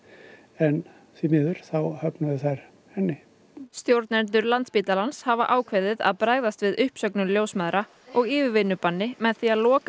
en því miður þá höfnuðu þær henni stjórnendur Landspítalans hafa ákveðið að bregðast við uppsögnum ljósmæðra og yfirvinnubanni með því að loka